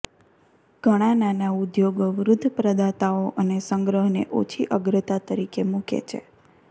ઘણાં નાના ઉદ્યોગો વૃદ્ધ પ્રદાતાઓ અને સંગ્રહને ઓછી અગ્રતા તરીકે મૂકે છે